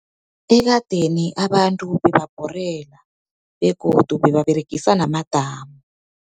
Ekadeni abantu bebabhorela, begodu bebaberegisa namadamu.